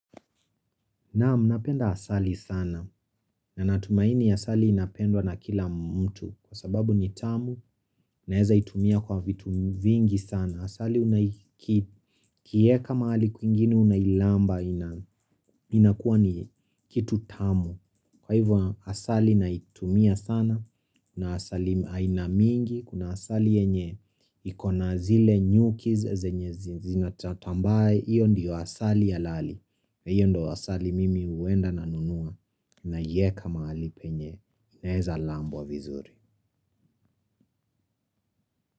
Naam napenda asali sana na natumaini asali inapendwa na kila mtu kwa sababu ni tamu naeza itumia kwa vitu vingi sana. Asali unaiki ukiieka mahali kwingine unailamba na inakuwa ni kitu tamu. Kwa hivyo asali naitumia sana kuna asali aina mingi kuna asali yenye iko na zile nyuki zenye zimetrap ambaye iyo ndiyo asali alali na iyo ndo asali mimi huenda nanunua naieka mahali penye inaeza lambwa wa vizuri.